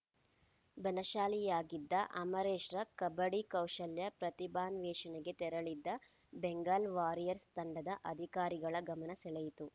ಬಲಶಾಲಿಯಾಗಿದ್ದ ಅಮರೇಶ್‌ರ ಕಬಡ್ಡಿ ಕೌಶಲ್ಯ ಪ್ರತಿಭಾನ್ವೇಷಣೆಗೆ ತೆರಳಿದ್ದ ಬೆಂಗಾಲ್‌ ವಾರಿಯರ್ಸ್ ತಂಡದ ಅಧಿಕಾರಿಗಳ ಗಮನ ಸೆಳೆಯಿತು